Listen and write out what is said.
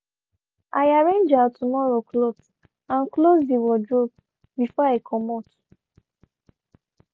i arranged out tomorrow cloth and close dey wardrobe before i comot